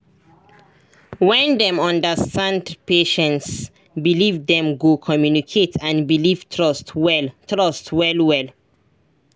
when dem understand patient's believe dem go communicate and build trust well trust well well